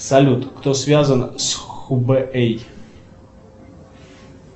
салют кто связан с хубэй